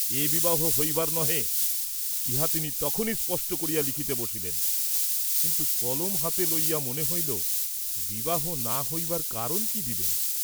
এ বিবাহ হইবার নহে, ইহা তিনি তখনই স্পষ্ট করিয়া লিখিতে বসিলেন; কিন্তু কলম হাতে লইয়া মনে হইল, বিবাহ না হইবার কারণ কি দিবেন?